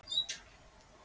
En ég veit að svo er ekki.